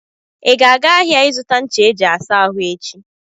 ị ga-aga ahịa ịzụta ncha eji asa ahụ echi?